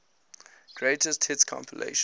greatest hits compilation